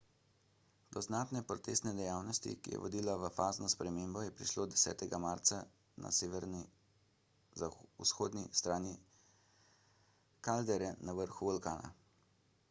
do znatne potresne dejavnosti ki je vodila v fazno spremembo je prišlo 10 marca na severovzhodni strani kaldere na vrhu vulkana